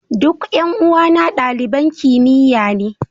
Duk 'yan uwana daliban kimiyya ne.